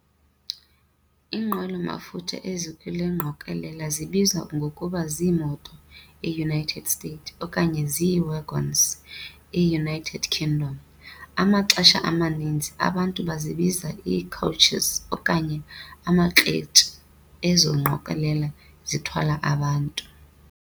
Iinqwelo mafutha ezikule ngqokolela zibizwa ngokuba zii-moto, e-United States, okanye zii-"wagons", e-United Kingdom. Amaxesha amaninzi, abantu bazibiza ii-Coaches okanye amakhareji ezo ngqokolela zithwala abantu.